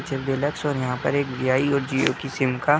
और यहाँ पर एक जीआई और जिओ का सिम का --